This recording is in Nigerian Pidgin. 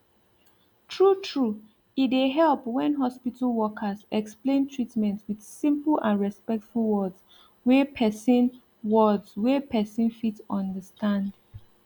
true true e dey help when hospital workers explain treatment with simple and respectful words wey person words wey person fit understand